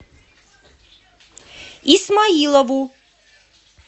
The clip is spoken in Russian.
исмаилову